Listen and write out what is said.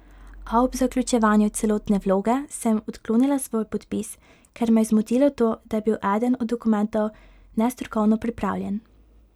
A ob zaključevanju celotne vloge sem odklonila svoj podpis, ker me je zmotilo to, da je bil eden od dokumentov nestrokovno pripravljen.